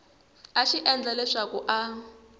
a xi endla leswaku a